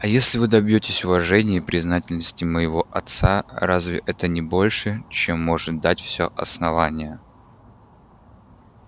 а если вы добьётесь уважения и признательности моего отца разве это не больше чем может дать все основание